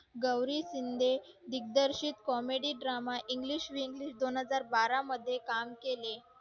गौरी शिंदे दिग्दर्शक comedy drama english दोन हजार बारा मध्ये काम केले